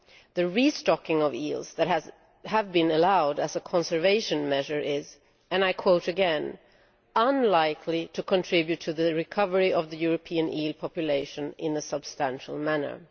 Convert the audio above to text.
The restocking of eels that has been allowed as a conservation measure is and I quote again unlikely to contribute to the recovery of the European eel population in a substantial manner'.